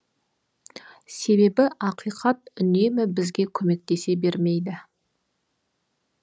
себебі ақиқат үнемі бізге көмектесе бермейді